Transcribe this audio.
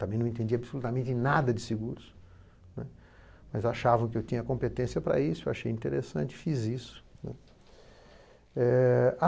Também não entendi absolutamente nada de seguros, né, mas achavam que eu tinha competência para isso, eu achei interessante, fiz isso, né. Eh